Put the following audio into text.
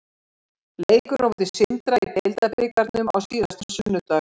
Leikurinn á móti Sindra í deildarbikarnum á síðasta sunnudag.